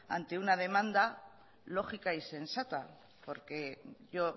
ante una demanda lógica y sensata porque yo